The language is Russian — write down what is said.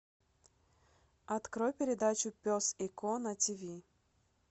открой передачу пес и ко на тв